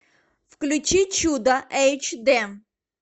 включи чудо эйч д